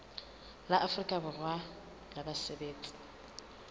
la afrika borwa la basebetsi